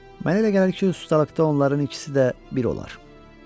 Mənə elə gəlir ki, ustalıqda onların ikisi də bir olar.